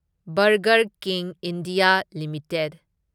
burger king India limited